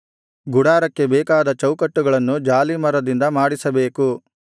ಗುಡಾರಕ್ಕೆ ಬೇಕಾದ ಚೌಕಟ್ಟುಗಳನ್ನು ಜಾಲೀಮರದಿಂದ ಮಾಡಿಸಬೇಕು